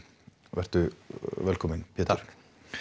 vertu velkominn Pétur takk